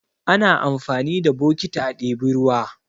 Ana amfani da bokiti a ɗebi ruwa.